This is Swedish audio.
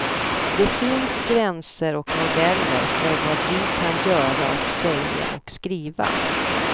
Det finns gränser och modeller för vad vi kan göra och säga och skriva.